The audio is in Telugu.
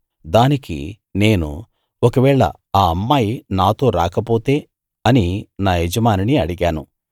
దానికి నేను ఒకవేళ ఆ అమ్మాయి నాతో రాకపోతే అని నా యజమానిని అడిగాను